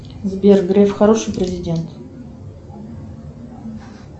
сбер греф хороший президент